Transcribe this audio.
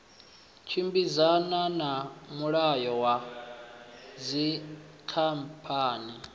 tshimbidzana na mulayo wa dzikhamphani